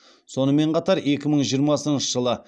сонымен қатар екі мың жиырмасыншы жылы